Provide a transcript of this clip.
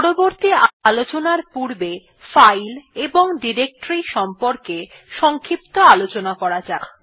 পরবর্তী আলোচনার পূর্বে ফাইল এবং ডিরেক্টরীর সম্বন্ধে সংক্ষিপ্ত আলোচনা করা যাক